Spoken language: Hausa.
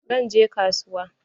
Zan je kasuwa.